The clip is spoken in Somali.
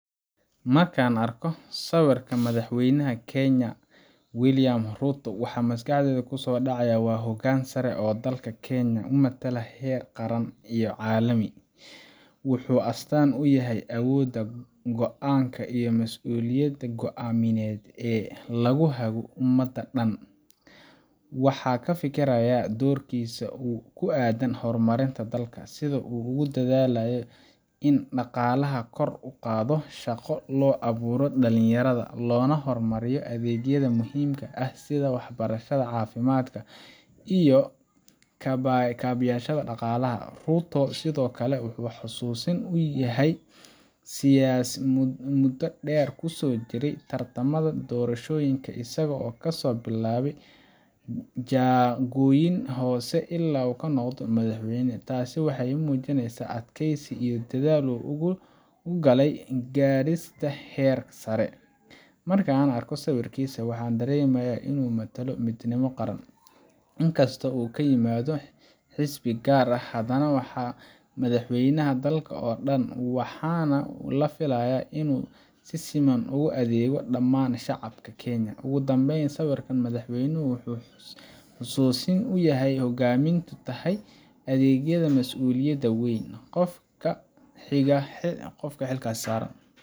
Markaan arko sawirka madaxweynaha Kenya, Wiliam Ruto maxaa maskaxdayda kusoo dhacaya? Waa hoggaan sare oo dalka Kenya u matala heer qaran iyo caalami. Wuxuu astaan u yahay awoodda go’aanka iyo mas’uuliyadda go’aan lagu hago ummadda dhan. Waxaan ka fikirayaa doorkiisa ku aaddan horumarinta dalka, sida uu ugu dadaalayo in dhaqaalaha kor loo qaado, shaqo loo abuuro dhalinyarada, lana horumariyo adeegyada muhiimka ah sida waxbarashada, caafimaadka, iyo kaabeyaasha dhaqaalaha. Ruto sidoo kale wuxuu i xusuusinayaa muddo dheer oo uu kusoo jiray tartamada doorashooyinka, isagoo kasoo bilaabay jagooyin hoose ilaa uu ka noqday madaxweyne. Taas waxay muujinaysaa adkaysi iyo dadaal uu u galay gaarista heer sare. Markaan arko sawirkiisa, waxaan dareemayaa inuu matalo midnimo qaran. Inkastoo uu ka yimid xisbi gaar ah, haddana waa madaxweynaha dalka oo dhan, waxaana la filayaa inuu si siman ugu adeego dhammaan shacabka Kenya. Ugu dambeyn, sawirka madaxweynaha wuxuu i xusuusinayaa hoggaamin, adeeg, iyo mas’uuliyad weyn oo qofka xilka haya saaran.